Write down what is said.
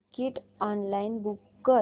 ticket online book कर